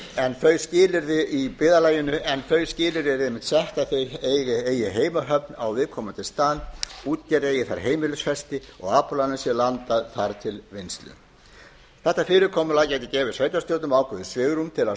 en þau skilyrði eru einmitt sett að þau eigi heima þar á viðkomandi stað útgerðin eigi það heimilisfesti og aflarnir hafi farið til vinnslu þetta fyrirkomulag gefur sveitarstjórnum ákveðið svigrúm til að